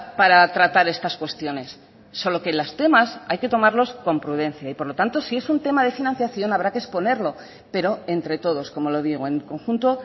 para tratar estas cuestiones solo que los temas hay que tomarlos con prudencia y por lo tanto si es un tema de financiación habrá que exponerlo pero entre todos como lo digo en conjunto